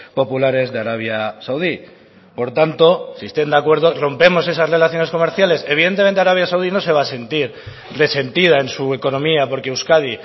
populares de arabia saudí por tanto si están de acuerdo rompemos esas relaciones comerciales evidentemente arabia saudí no se va a sentir resentida en su economía porque euskadi